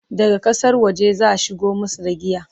daga ƙasar waje zaa shigo masu da giyan